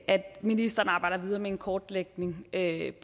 ministeren arbejder videre med en kortlægning af